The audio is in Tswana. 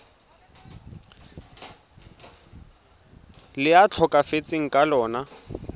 le a tlhokafetseng ka lona